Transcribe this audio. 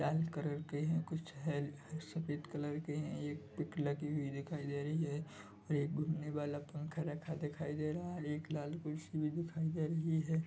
लाल colour के है कुछ कुछ हर सफेद कलर के है एक पिक लगी हुई दिखाई दे रही है एक घूमने वाला पंखा लगा हुआ दिखाई दे रहा है एक लाल कुर्सी भी दिखाई दे रही है।